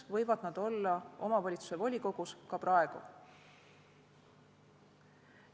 Nad võivad olla omavalitsuse volikogus ka praegu.